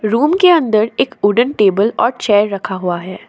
Room के अंदर एक वुडन टेबल और चेयर रखा हुआ है।